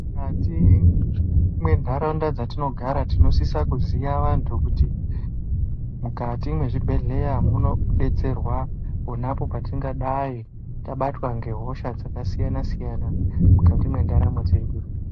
Mukati mwentaraunda dzatinogara tinosisa kuziya antu kuti mukati mwezvibhedhleya munodetserwa ponapo petingadai tabatwa ngehosha dzakasiyana siyana mukati mwendaramo dzedu.